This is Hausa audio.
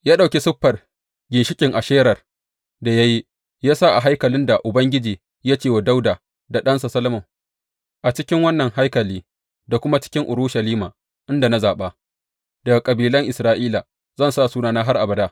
Ya ɗauki siffar ginshiƙin Asherar da ya yi, ya sa a haikalin da Ubangiji ya ce wa Dawuda da ɗansa Solomon, A cikin wannan haikali, da kuma cikin Urushalima inda na zaɓa daga kabilan Isra’ila, zan sa Sunana har abada.